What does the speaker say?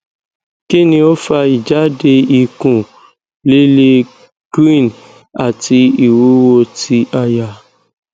kini o fa ijade ikun lile green ati iwuwo ti aya